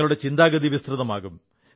നിങ്ങളുടെ ചിന്താഗതി വിസ്തൃതമാകും